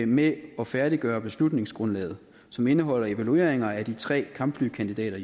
med at færdiggøre beslutningsgrundlaget som indeholder evalueringer af de tre kampflykandidater